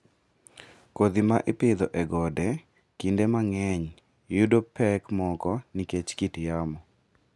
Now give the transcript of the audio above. Kodhi ma ipidho e gode kinde mang'eny yudo pek moko nikech kit yamo.